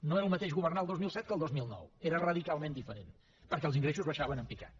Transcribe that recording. no era el mateix governar el dos mil set que el dos mil nou era radicalment diferent perquè els ingressos baixaven en picat